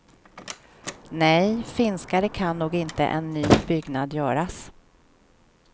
Nej, finskare kan nog inte en ny byggnad göras.